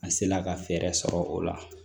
A se la ka fɛɛrɛ sɔrɔ o la